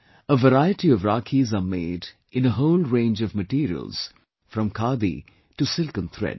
A variety of Rakhis are made in a whole range of materials, from 'khadi' to silken threads